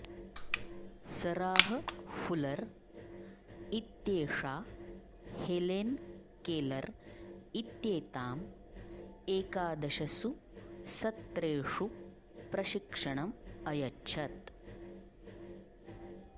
Sarah Fuller इत्येषा Helen Keller इत्येताम् एकादशसु सत्रेषु प्रशिक्षणम् अयच्छत्